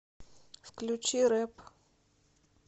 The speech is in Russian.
включи рэп